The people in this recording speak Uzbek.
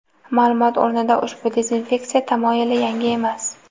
Ma’lumot o‘rnida, ushbu dezinfeksiya tamoyili yangi emas.